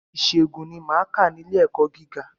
Ìṣègùn ni máa kà ní ilé ẹ̀kọ́ gíga.